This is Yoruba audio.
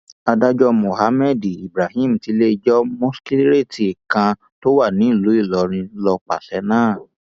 adájọ mohammed ibrahim tiléẹjọ mọkiṣréètì kan tó wà nílùú ìlọrin ló pàṣẹ náà